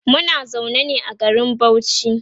Muna zaune ne a garin Bauchi